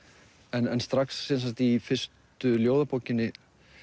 en strax í fyrstu ljóðabókinni